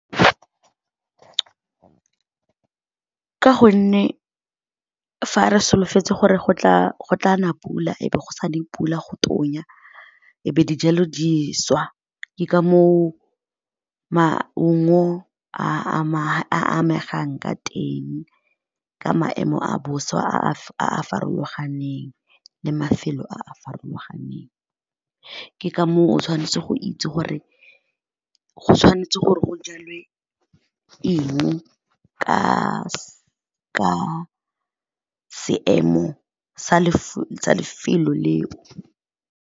Ka gonne fa re solofetse gore go tla nna pula, ebe go sa ne pula go tonya, ebe dijalo di swa, ke ka mo o maungo a amegang ka teng, ka maemo a bosa a a farologaneng le mafelo a a farologaneng. Ke ka mo o o tshwanetse go itse gore go tshwanetse gore go jalwa ke eng ka seemo sa lefelo leo.